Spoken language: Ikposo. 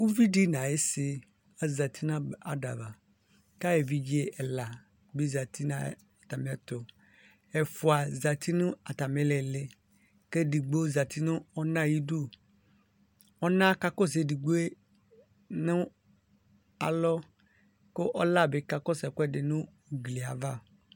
Ʋvidi nʋ ayisi azati kʋ evidze ɛla bi zati n ayʋ ɛtʋ ɛfʋa zati nʋ atmi iliili kʋ edigbo zati nʋ ɔna ayʋ idʋ ɔna ka kɔsʋ edigboe nʋ alɔ kʋ ɔla bi kakɔsʋ ɛkʋɛdi nʋ ʋgbli yɛ ava